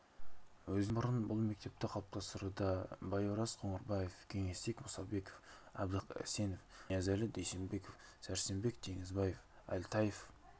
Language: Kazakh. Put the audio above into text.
өзінен бұрын бұл мектепті қалыптастыруда байораз қоңырбаев кеңесбек мұсабеков әбдіхалық әсенов ниязәлі дүйсенбеков сәрсенбек теңізбаев әлтаев